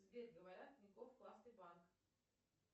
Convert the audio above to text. сбер говорят тинькофф классный банк